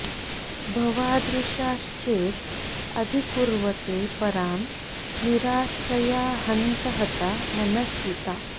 भवादृशाश् चेद् अधिकुर्वते परान् निराश्रया हन्त हता मनस्विता